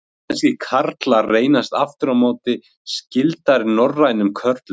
Íslenskir karlar reynast aftur á móti skyldari norrænum körlum.